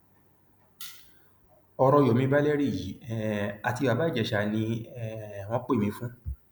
ọrọ yomi valeriyi um àti bàbá ìjèṣà ni um wọn pè mí fún